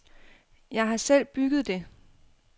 Jeg har selv bygget det.